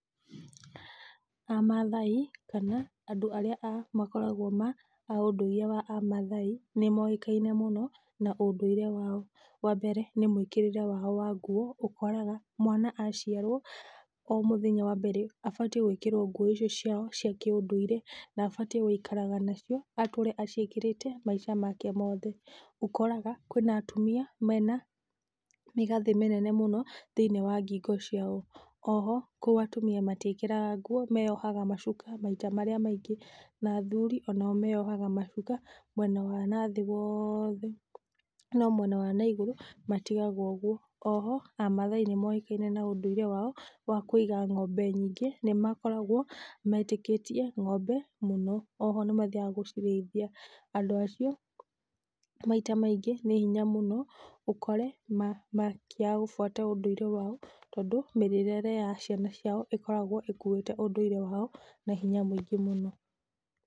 Amathai, kana andũ arĩa a makoragwo ma a ũndúire wa amathai, nĩmoĩkaine mũno na ũndũire wao, wambere, nĩ mwĩkĩrĩre wao wa nguo, ũkoraga mwana aciarwo o mũthenya wa mbere abatiĩ gwĩkĩrwo nguo icio ciao cia kĩ ũndũire nabaitiĩ gũikaraga nacio atũre aciĩkĩrĩte maica make mothe, ũkoraga kwĩna atumia mena, mĩgathĩ mĩnene mũno thĩ-inĩ wa ngingo ciao, oho kũu atumia matiĩkagĩra nguo, meyohaga macuka maita marĩa maingĩ, na athuri, onao meyohaga macuka, mwena wa nathĩ wothe, no mwena wa na igũrũ, matigaga ũguo, oho, amathai nĩmoĩkaine na úndũire wao wa kũiga ng'ombe nyingĩ, nĩmakoragwo metĩkĩtie ng'ombe mũno, oho nĩmathiaga gũcirĩithia, andũ acio, maita maingĩ, nĩ hinya mũno ũkore ma makĩaga gũbuata ũndũire wao, tondũ mĩrerere yao ciana ciao ĩkoragwo ĩkuĩte ũndũire wao na hinya mũingĩ mũno.